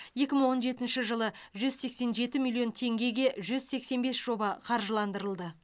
екі мың он жетінші жылы жүз сексен жеті миллион теңгеге жүз сексен бес жоба қаржыландырылды